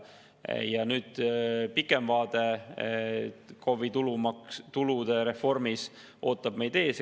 Nüüd, KOV‑i tulude reformi pikem vaade ootab meid ees.